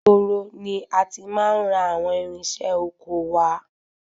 Ìgboro ni a ti máa ń ra àwọn irinṣẹ́ ọkọ wá.